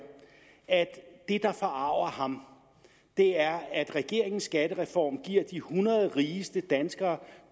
at det der forarger ham er at regeringens skattereform giver de hundrede rigeste danskere